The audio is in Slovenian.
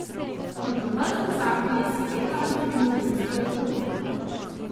Kontroverzni zakon je seveda razdelil ljudstvo in politiko.